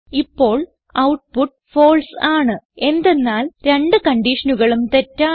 ഇപ്പോൾ output false ആണ് എന്തെന്നാൽ രണ്ട് കൺഡിഷനുകളും തെറ്റാണ്